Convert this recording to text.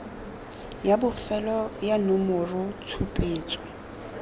ya bofelo ya nomoro tshupetso